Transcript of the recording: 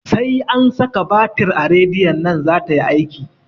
Sai an saka batir a radiyon nan zata yi aiki